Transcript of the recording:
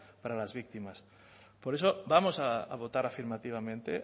para las víctimas por eso vamos a votar afirmativamente